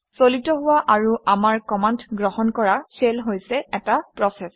চালিত হোৱা আৰু আমাৰ কমাণ্ড গ্ৰহণ কৰা শেল হৈছে এটা প্ৰচেচ